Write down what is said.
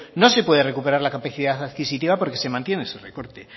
no se puede recuperar la capacidad adquisitiva porque se mantiene ese recorte